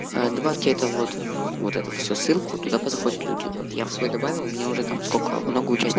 добавте а вот вот это все ссылку туда позаходят люди вот я в свой добавил меня уже там сколько много участников